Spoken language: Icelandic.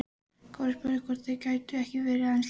Kári spurði hvort þeir gætu ekki verið aðeins lengur.